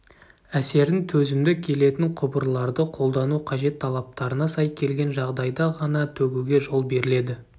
әсерін төзімді келетін құбырларды қолдану қажет талаптарына сай келген жағдайда ғана төгуге жол беріледі